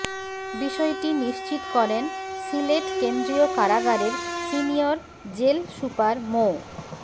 বিষয়টি নিশ্চিত করেন সিলেট কেন্দ্রীয় কারাগারের সিনিয়র জেল সুপার মো